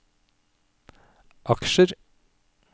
aksjer